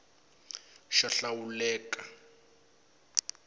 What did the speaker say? xo hlawuleka eka dplg hi